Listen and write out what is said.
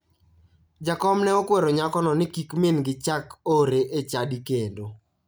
Jakom ne okwero nyakono ni kik mingi chak ore e chadi kendo.